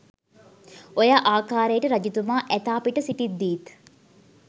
ඔය ආකාරයට රජතුමා ඇතා පිට සිටිද්දීත්